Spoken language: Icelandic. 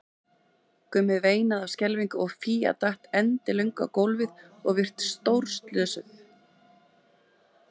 Gummi veinaði af skelfingu og Fía datt endilöng á gólfið og virtist vera stórslösuð.